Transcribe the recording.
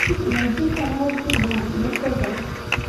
найди канал еда на тв